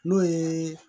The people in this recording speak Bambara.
N'o ye